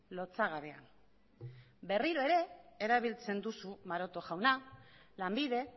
lotsagabea berriro ere erabiltzen duzu maroto jauna lanbide